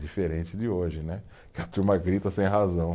Diferente de hoje né, que a turma grita sem razão.